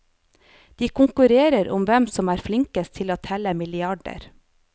De konkurrerer om hvem som er flinkest til å telle milliarder.